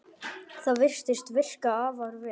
Það virðist virka afar vel.